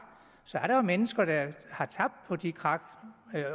så er der mennesker der har tabt på de krak